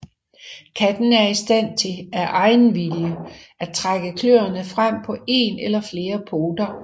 Katten er i stand til af egen vilje at trække kløerne frem på en eller flere poter